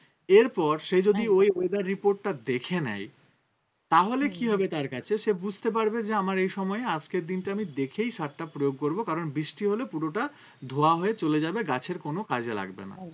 এরপর সে যদি ওই weather report টা দেখে নেই তাহলে কি হবে তার কাছে সে বুঝতে পারবে যে আমার এই সময়ে আজকের দিনটা আমি দেখেই সারটা প্রয়োগ করবো কারণ বৃষ্টি হলে পুরোটা ধোয়া হয়ে চলে যাবে গাছের কোনো কাজে লাগবে না